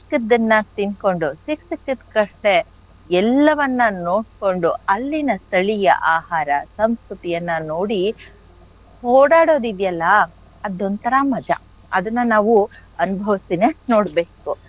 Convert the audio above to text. ಸಿಕ್ಕಿದನ್ನ ತಿನ್ಕೊಂಡು ಸಿಕ್ ಸಿಕ್ಕಿದ್ ಕಡೆ ಎಲ್ಲವನ್ನ ನೋಡ್ಕೊಂಡು ಅಲ್ಲಿನ ಸ್ಥಳೀಯ ಆಹಾರ ಸಂಸ್ಕೃತಿಯನ್ನ ನೋಡಿ ಓಡಾಡೋದ್ ಇದ್ಯಲ್ಲ ಅದೊಂತರ ಮಜಾ ಅದನ್ನ ನಾವು ಅನುಭವ್ಸಿನೆ ನೋಡ್ಬೇಕು.